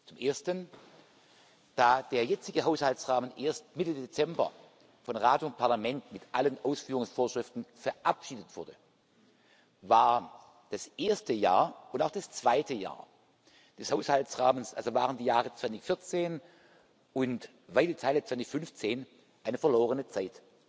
Zum Ersten Da der jetzige Haushaltsrahmen erst Mitte Dezember von Rat und Parlament mit allen Ausführungsvorschriften verabschiedet wurde, war das erste Jahr und auch das zweite Jahr des Haushaltsrahmens, waren also die Jahre 2014 und weite Teile des Jahres 2015 eine verlorene Zeit.